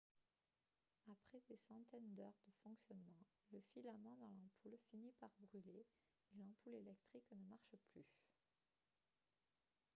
après des centaines d'heures de fonctionnement le filament dans l'ampoule finit par brûler et l'ampoule électrique ne marche plus